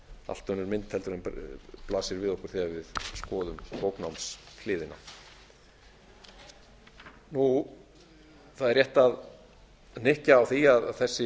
allt önnur mynd heldur en blasir við okkur þegar við skoðum bóknámshliðina það er rétt að hnykkja á því að þessi